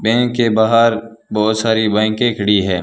Bank के बाहर बहुत सारी बाईकें खड़ी है।